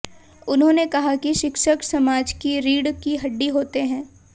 उन्होंने कहा कि शिक्षक समाज की रीढ़ की हड्डी होते हैं